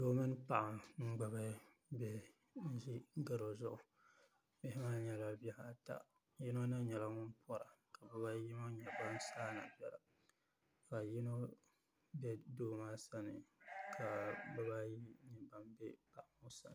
Doo mini n-ɡbubi bihi n-ʒi ɡaro zuɣu bihi maa nyɛla bihi ata yino na nyɛla ŋun pɔra ka biba ayi ŋɔ nyɛ ban saai na biɛla ka yino be doo maa sani ka biba ayi nyɛ ban be paɣa ŋɔ sani